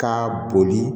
K'a boli